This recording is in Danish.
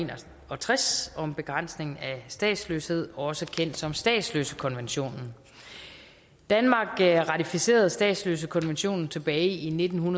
og tres om begrænsning af statsløshed også kendt som statsløsekonventionen danmark ratificerede statsløsekonventionen tilbage i nitten